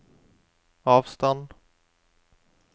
avstand